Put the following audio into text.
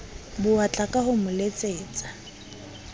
bowatla ka ho mo letsetsa